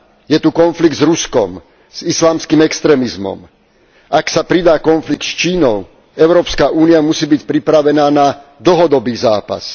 Je tu konflikt s Ruskom, s islamským extrémizmom, ak sa pridá konflikt s Čínou, Európska únia musí byť pripravená na dlhodobý zápas.